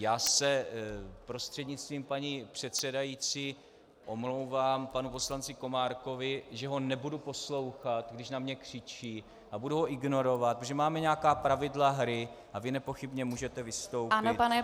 Já se prostřednictvím paní předsedající omlouvám panu poslanci Komárkovi, že ho nebudu poslouchat, když na mě křičí, a budu ho ignorovat, protože máme nějaká pravidla hry, a vy nepochybně můžete vystoupit, kdy budete potřebovat.